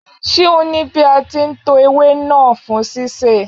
Ṣé o ní bí a ti ń to ewé náà fún sísè.